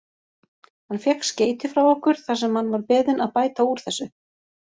Hann fékk skeyti frá okkur þar sem hann var beðinn að bæta úr þessu.